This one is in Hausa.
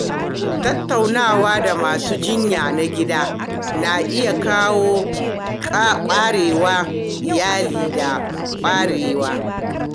Tattaunawa da masu jinya na gida na iya kawo ƙaruwar ilimi da ƙwarewa.